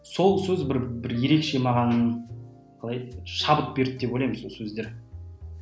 сол сөз бір бір ерекше маған қалай еді шабыт берді деп ойлаймын сол сөздер